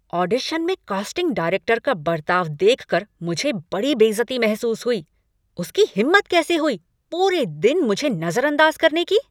Audition में casting director का बर्ताव देखकर मुझे बड़ी बेइज़्ज़ती महसूस हुई, उसकी हिम्मत कैसे हुई पूरे दिन मुझे नज़रअदाज़ करने की।